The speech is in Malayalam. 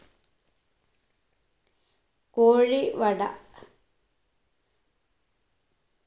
കോഴി വട